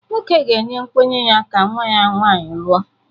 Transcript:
Nwoke ga-enye nkwenye ya ka nwa ya nwanyị lụọ